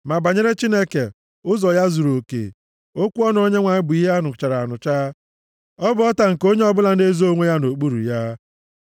Ma banyere Chineke, ụzọ ya zuruoke, okwu ọnụ Onyenwe anyị bụ ihe a nụchara anụcha; ọ bụ ọta + 18:30 Ya bụ, ebe nchebe nke onye ọbụla na-ezo onwe ya nʼokpuru ya.